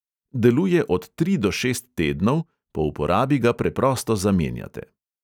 Deluje od tri do šest tednov, po uporabi ga preprosto zamenjate.